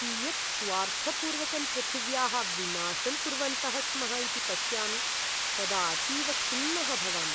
कियत् स्वार्थपूर्वकं पृथिव्याः विनाशं कुर्वन्तः स्मः इति पश्यामि तदा अतीव खिन्नः भवामि।